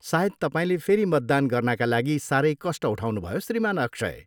सायद तपाईँले फेरि मतदान गर्नाका लागि साह्रै कष्ट उठाउनुभयो, श्रीमान अक्षय।